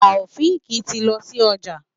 Taofiq tí lọ sí ọjà.